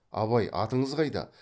абай атыңыз қайда